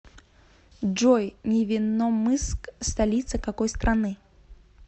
джой невинномысск столица какой страны